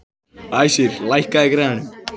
Æsir, lækkaðu í græjunum.